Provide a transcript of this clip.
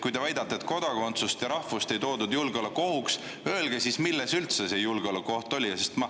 Kui te väidate, et kodakondsust ja rahvust ei peetud julgeolekuohuks, siis öelge, milles üldse see julgeolekuoht oli.